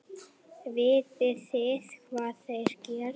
Vitið þið hvað þeir gerðu?